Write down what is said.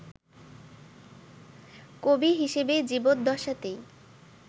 কবি হিসেবে জীবদ্দশাতেই